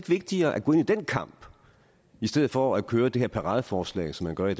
vigtigere at gå ind i den kamp i stedet for at køre det her paradeforslag som man gør